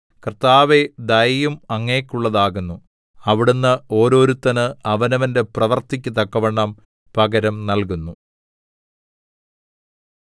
കർത്താവേ ദയയും അങ്ങേക്കുള്ളതാകുന്നു അവിടുന്ന് ഓരോരുത്തന് അവനവന്റെ പ്രവൃത്തിക്കു തക്കവണ്ണം പകരം നല്കുന്നു